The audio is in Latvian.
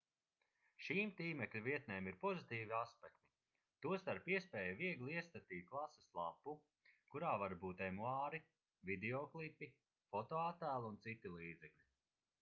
šīm tīmekļa vietnēm ir pozitīvi aspekti tostarp iespēja viegli iestatīt klases lapu kurā var būt emuāri videoklipi fotoattēli un citi līdzekļi